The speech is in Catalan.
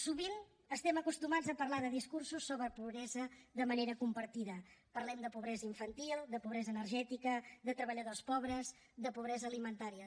sovint estem acostumats a parlar de discursos sobre pobresa de manera compartimentada parlem de pobresa infantil de pobresa energètica de treballadors pobres de pobresa alimentària